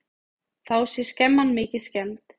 Þá sé skemman mikið skemmd.